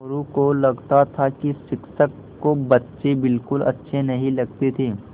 मोरू को लगता था कि शिक्षक को बच्चे बिलकुल अच्छे नहीं लगते थे